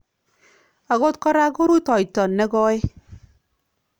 "Akot koraa ko rutoyto ne kooy"